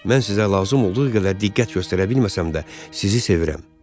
Mən sizə lazım olduğu qədər diqqət göstərə bilməsəm də, sizi sevirəm.